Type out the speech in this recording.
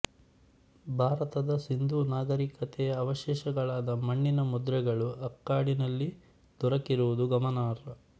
ಭಾರತದ ಸಿಂಧೂ ನಾಗರಿಕತೆಯ ಅವಶೇಷಗಳಾದ ಮಣ್ಣಿನ ಮುದ್ರೆಗಳು ಅಕ್ಕಾಡಿನಲ್ಲಿ ದೊರಕಿರುವುದು ಗಮನಾರ್ಹ